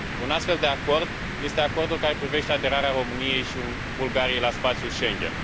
Un astfel de acord este acordul care privește aderarea României și Bulgariei la spațiul Schengen.